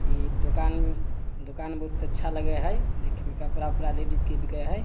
इ दुकान दुकान बहुत अच्छा लगे है देखे में । कपड़ा-उपरा लेडिस के बिके है।